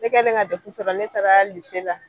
Ne kɛlen ka dɛfu sɔrɔ ne taara lise la